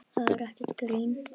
Það er ekkert grín.